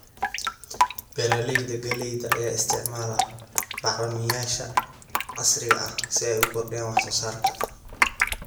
Beeralayda galleyda ayaa isticmaala bacrimiyeyaasha casriga ah si ay u kordhiyaan wax soo saarka.